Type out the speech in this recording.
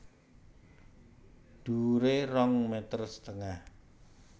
Dhuwuré rong meter setengah